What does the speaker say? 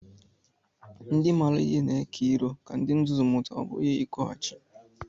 Ndị maara ihe na-eke ilu ka ndị nzuzu mụta, ọ bụghị ikwughachi.